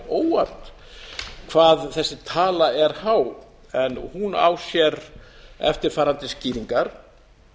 óvart hvað þessi tala er há en hún á sér eftirfarandi skýringar